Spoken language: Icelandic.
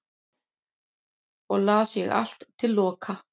og las ég allt til loka